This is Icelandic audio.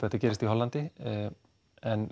þetta gerist í Hollandi en